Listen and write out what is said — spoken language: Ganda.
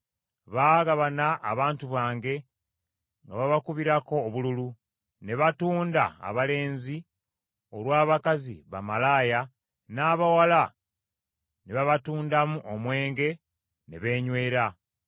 Baagabana abantu bange nga babakubirako obululu; ne batunda abalenzi olw’abakazi bamalaaya, n’abawala ne babatundamu omwenge ne beenywera.